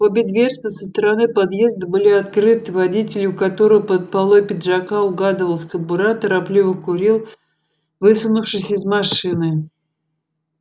обе дверцы со стороны подъезда были открыты водитель у которого под полой пиджака угадывалась кобура торопливо курил высунувшись из машины